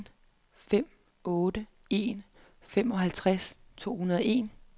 en fem otte en femoghalvtreds to hundrede og en